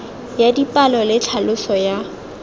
ya dipalo le tlhaloso ya